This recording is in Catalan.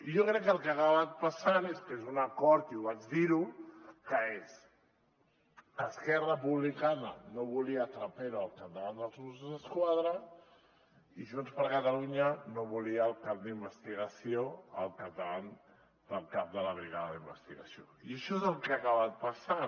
i jo crec que el que ha acabat passant és que és un acord i vaig dir ho que és esquerra republicana no volia trapero al capdavant dels mossos d’esquadra i junts per catalunya no volia el cap d’investigació al capdavant del cap de la brigada d’investigació i això és el que ha acabat passant